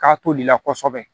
K'a tolila kosɛbɛ